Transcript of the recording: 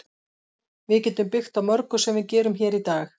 Við getum byggt á mörgu sem við gerum hér í dag.